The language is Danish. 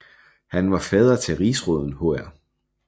Han var fader til rigsråden hr